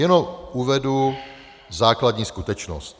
Jenom uvedu základní skutečnost.